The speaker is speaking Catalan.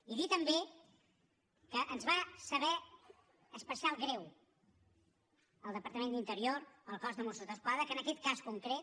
i dir també que ens va saber especial greu al departament d’interior al cos de mossos d’esquadra que en aquest cas concret